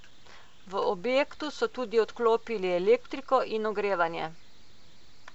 V objektu so tudi odklopili elektriko in ogrevanje.